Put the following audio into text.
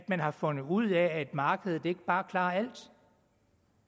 man har fundet ud af at markedet ikke bare klarer alt